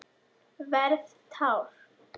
Verð tár.